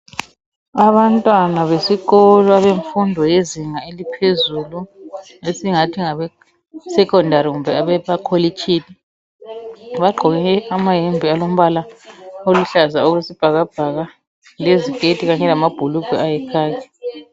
Abantwana besikolo abezinga eliphezulu esingathi ngabe secondary kumbe emakolitshini, bagqoke amayembe alombala oluhlaza okwesibhakbhaka leziketi kanye lamabhulugwe ayikhakhi.